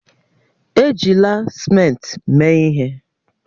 Ejila simenti mee ihe